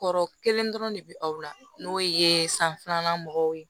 Kɔrɔ kelen dɔrɔn de bɛ aw la n'o ye san filanan mɔgɔw ye